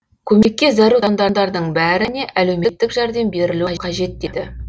көмекке зәру тұрғындардың бәріне әлеуметтік жәрдем берілуі қажет деді